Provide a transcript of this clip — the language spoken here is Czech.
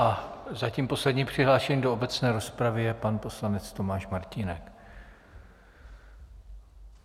A zatím poslední přihlášený do obecné rozpravy je pan poslanec Tomáš Martínek.